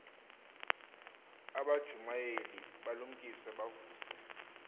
abajumayeli balumkise bavuse